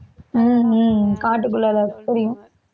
உம் உம் காட்டுக்குள்ள தான் இருக்கு தெரியும்